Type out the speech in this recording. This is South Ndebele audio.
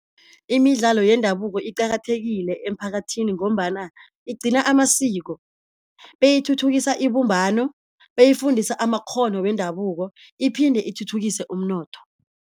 Imidlalo yendabuko iqakathekile emphakathini, ngombana igcina amasiko beyithuthukisa ibumbano, beyifundisa amakghono wendabuko iphinde ithuthukise umnotho.